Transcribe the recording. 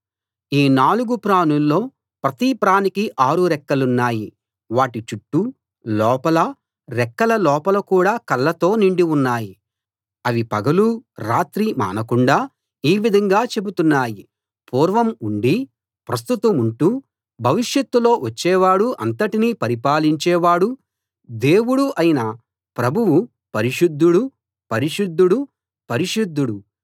ఈ నాలుగు ప్రాణుల్లో ప్రతి ప్రాణికీ ఆరు రెక్కలున్నాయి వాటి చుట్టూ లోపలా రెక్కల లోపల కూడా కళ్ళతో నిండి ఉన్నాయి అవి పగలూ రాత్రీ మానకుండా ఈ విధంగా చెబుతున్నాయి పూర్వం ఉండి ప్రస్తుతముంటూ భవిష్యత్తులో వచ్చేవాడూ అంతటినీ పరిపాలించే వాడూ దేవుడూ అయిన ప్రభువు పరిశుద్ధుడు పరిశుద్ధుడు పరిశుద్ధుడు